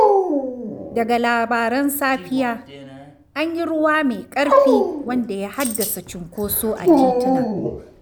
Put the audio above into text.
Daga labaran safiya—an yi ruwa mai ƙarfi wanda ya haddasa cunkoso a tituna.